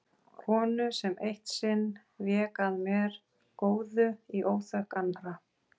Konu sem eitt sinn vék að mér góðu í óþökk annarra.